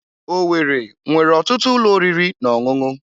Owerri nwere ọtụtụ ụlọ oriri na ọṅụṅụ.